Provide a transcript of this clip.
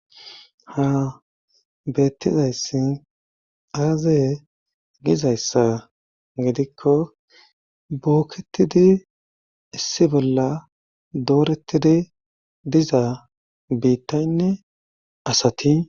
ha beettizayssi aazaye gizayssa gidikko bookketidi issi bolla dooretidi dizaa biittaynne asati